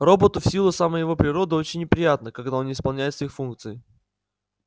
роботу в силу самой его природы очень неприятно когда он не исполняет своих функций